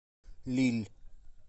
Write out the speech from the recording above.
лилль